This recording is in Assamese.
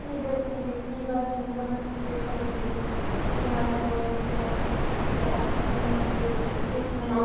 হয় দিয়াচোন এতিয়া কি বা কেনেকুৱা বা situation আছিল কিছুমানে কই যে oxygen নাছিল treatment